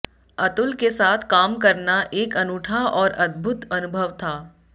अतुल के साथ काम करना एक अनूठा और अद्भुत अनुभव था